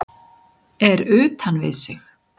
Er utan við sig